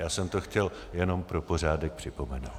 Já jsem to chtěl jenom pro pořádek připomenout.